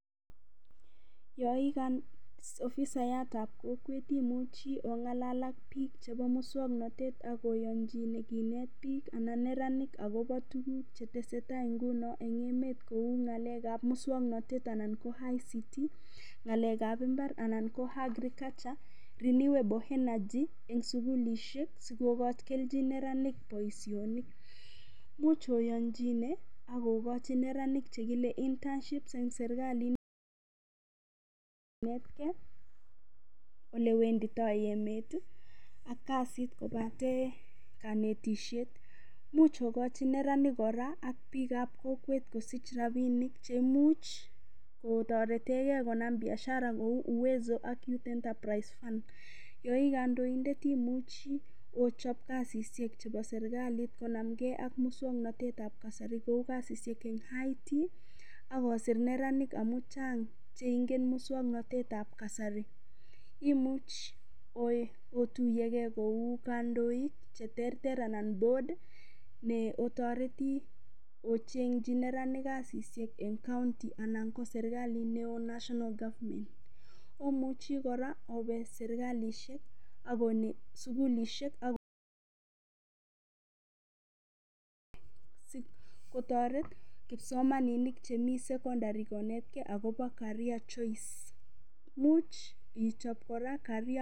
Yon ii ofisayat ab kokwet imuchi ong'alal ak bik chebo muswoknatet ak oyonchine kinet biik anan neranik agobo tuguk che tesetai nguni en emet kou ng'alek ab muswoknatet anan ko ICT ng'alek ab mbar anan ko Agriculture, renewable energy, sugulishek sikogochi neranik boisionik. Imuch oyonchiine ak ogochi neranik che kile internships en serkalit, kinetkei olle wendito emet ak kasit kobate konetishet. Imuch ogochi neranik kora ak biik ab kokwet kosich rabinik che imuch kotoretege konam biashara kou uwezo ak youth entreprise fund yon ii kandoindet imuchi ichob kasishek chebo serkalit konamge ak muswoknatet ab kasari kou kasishek en IT ak osir neranik amun chnag che ingen muswoknatet ab kasari. Imuch otuiye ge kou kandoik che terter anan board ne otoreti ocheng'chi neranik kasishek en county anan ko serkalit neo national government . Omuchi kora obe serkalishek ak onet sugulishek ak kotoret kipsomaninik chemi secondary konetge agobo career choice imuch ichob kora career